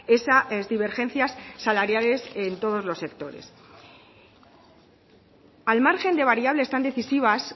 esa divergencias salariales en todos los sectores al margen de variables tan decisivas